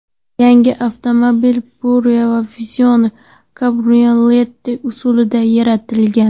Yangi avtomobil kupe va Vision kabrioleti uslubida yaratilgan.